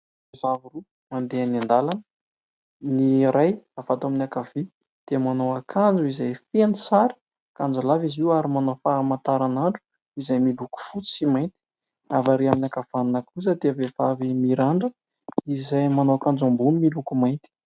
Zazavavy roa mandeha eny an-dàlana: ny iray avy ato amin'ny ankavia dia manao akanjo izay feno sary, akanjolava izy io ary manao famantaran'andro izay miloko fotsy sy mainty; avy ary amin'ny ankavanana kosa dia vehivavy mirandrana izay manao akanjo ambony miloko mainty.